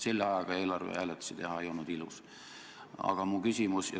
Selle ajaga eelarvehääletusi teha ei olnud ilus.